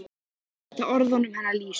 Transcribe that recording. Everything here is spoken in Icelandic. Þetta var eitt af orðunum hennar Lísu.